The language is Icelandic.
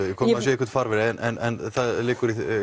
einhvern farveg en það liggur